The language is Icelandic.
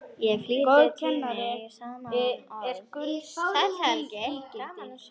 Í flýti tíni ég saman orð: Sæll Helgi, gaman að sjá þig